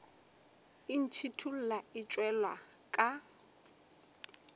e ntšhithola e tšwela ka